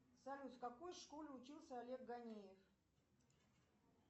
салют в какой школе учился олег ганеев